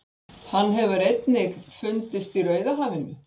hann hefur einnig fundist í rauðahafinu